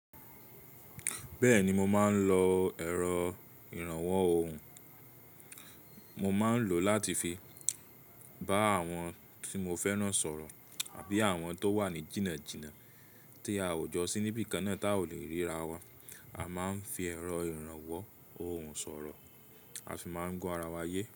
Bẹ́ẹ̀ni mo máa ń lọ ẹ̀rọ ìrànwọ́ ohùn. Mo máa ń lò láti fi bá àwọn tí mo fẹ́ran sọ̀rọ̀ àbí àwọn tó wà ní jìnnàjìnnà tí a ò jọ sí níbí kan náà tá a ò lè ríra wa, a máa ń fi ẹ̀rọ ìrànwọ́ ohùn sọ̀rọ̀, a ṣi máa ń gbọ ara wa yé.